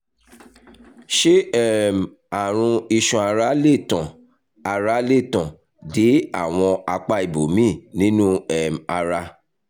ṣé um àrùn iṣan ara lè tàn ara lè tàn dé àwọn apá ibòmíì nínú um ara?